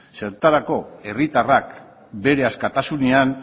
zertarako herritarrak bere askatasunean